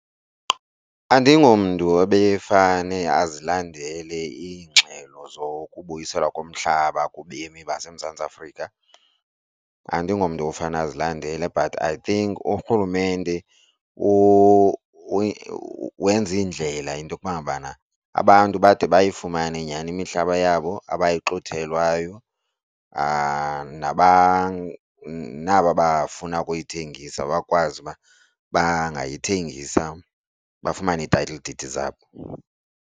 Andingomntu ebefane azilandele iingxelo zokubuyiselwa komhlaba kubemi baseMzantsi Afrika andingomntu ofane azilandele but I think urhulumente wenze iindlela into kuba ngabana abantu bade bayifumane nyhani imihlaba yabo abayixuthelwayo naba bafuna ukuyithengisa bakwazi uba bangayithengisa bafumane ii-title deed zabo.